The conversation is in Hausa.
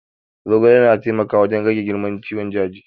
Zogale na taimaka wurin rage girman ciwon daji